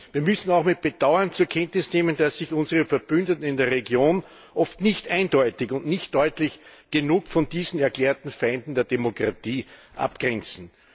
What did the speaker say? Wir müssen auch mit Bedauern zur Kenntnis nehmen, dass sich unsere Verbündeten in der Region oft nicht eindeutig und nicht deutlich genug von diesen erklärten Feinden der Demokratie abgrenzen.